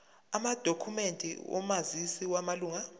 amadokhumende omazisi wamalunga